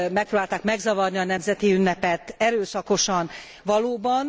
Megpróbálták megzavarni a nemzeti ünnepet erőszakosan valóban.